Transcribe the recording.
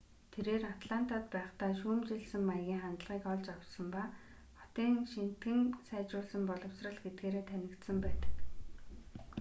тэрээр атлантад байхдаа шүүмжилсэн маягийн хандлагыг олж авсан ба хотын шинэтгэн сайжруулсан боловсрол гэдгээрээ танигдсан байдаг